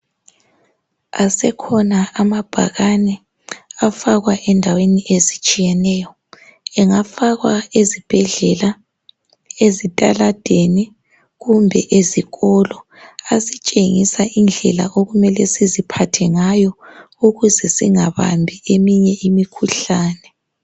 Asekhona amabhakane afakwa endaweni ezitshiyeneyo. Engafakwa ezibhedlela, ezitaladeni kumbe ezikolo. Asitshengisa indlela okumele siziphathe ngayo ukuze singabambi eminye imikhuhlane.